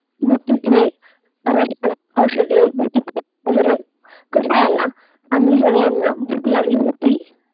मग तिथे ration औषधे वगैरे कसा आला? आणि सगळ्यांना भूक लागली होती?